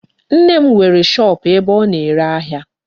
Nne m nwere shop ebe ọ na-ere ahịa.